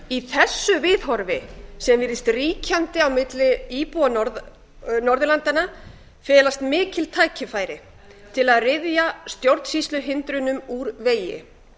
í þessu viðhorfi sem virðist ríkjandi á milli íbúa norðurlandanna felast mikil tækifæri til að ryðja stjórnsýsluhindrunum úr vegi